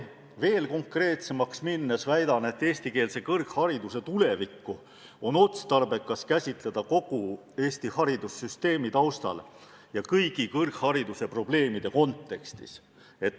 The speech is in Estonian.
Veel konkreetsemaks minnes väidan, et eestikeelse kõrghariduse tulevikku on otstarbekas käsitleda kogu Eesti haridussüsteemi taustal ja kõigi kõrghariduse probleemide kontekstis.